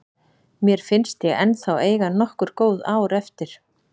Mér finnst ég ennþá eiga nokkur góð ár eftir.